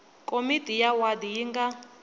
komiti ya wadi yi nga